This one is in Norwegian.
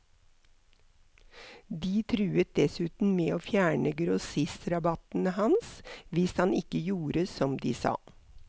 De truet dessuten med å fjerne grossistrabattene hans hvis han ikke gjorde som de sa.